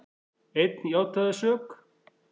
Einn játaði sök